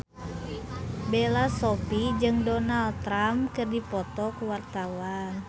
Bella Shofie jeung Donald Trump keur dipoto ku wartawan